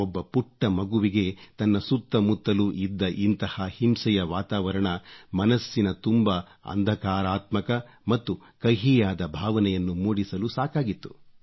ಒಬ್ಬ ಪುಟ್ಟ ಮಗುವಿಗೆ ತನ್ನ ಸುತ್ತಮುತ್ತಲೂ ಇದ್ದ ಇಂಥ ಹಿಂಸೆಯ ವಾತಾವರಣ ಮನಸ್ಸಿನ ತುಂಬ ಅಂಧಕಾರಾತ್ಮಕ ಮತ್ತು ಕಹಿಯಾದ ಭಾವನೆಯನ್ನು ಮೂಡಿಸಲು ಸಾಕಾಗಿತ್ತು